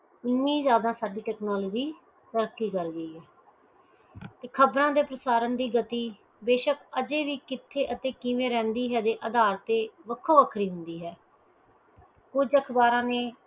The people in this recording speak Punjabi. ਇਨੀ ਜ਼ਿਆਦਾ ਸਾਡੀ technology ਤਰੱਕੀ ਕਰ ਗਈ ਹੈ ਤੇ ਖ਼ਬਰਾਂ ਦੇ ਪਸਾਰਨ ਦੀ ਗਤੀ ਬੇਸ਼ੱਕ ਅਜੇ ਵੀ ਕਿਥੈ ਤੇ ਕਿਵੇਂ ਰਹਿੰਦੀ ਐ ਏਦੇ ਅਧਾਰ ਤੇ ਵੱਖਰੋ ਵੱਖਰੀ ਹੁੰਦੀ ਹੈ ਕੁਜ ਅਖਬਾਰਾਂ ਨੇ